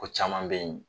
Ko caman bɛ yen